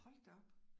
Hold da op